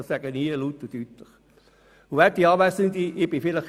Das sage ich hier laut und deutlich.